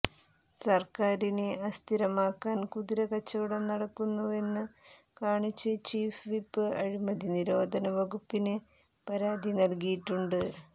സർക്കാരിനെ അസ്ഥിരമാക്കാൻ കുതിര കച്ചവടം നടക്കുന്നുവെന്ന് കാണിച്ച് ചീഫ് വിപ്പ് അഴിമതി നിരോധന വകുപ്പിന് പരാതി നൽകിയിട്ടുണ്ട്